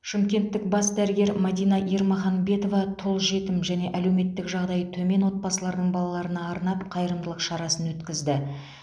шымкенттік бас дәрігер мәдина ермаханбетова тұл жетім және әлеуметтік жағдайы төмен отбасылардың балаларына арнап қайырымдылық шарасын өткізді